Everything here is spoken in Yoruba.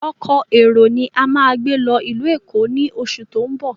Ọkọ̀ èrò ni a máa gbé lọ ìlú Èkó ni oṣù tó ń bọ̀.